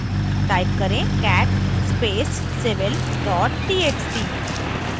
type करें cat space civil txt